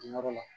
Nin yɔrɔ la